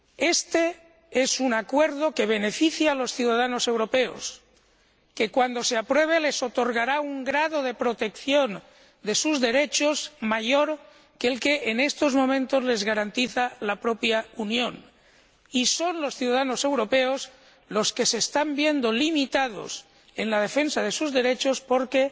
Este es un acuerdo que beneficia a los ciudadanos europeos, a los que les otorgará, cuando se apruebe, un grado de protección de sus derechos mayor que el que en estos momentos les garantiza la propia Unión, y son los ciudadanos europeos los que se están viendo limitados en la defensa de sus derechos porque